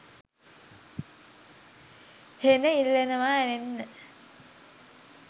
හෙන ඉල්ලනවා ඇරෙන්න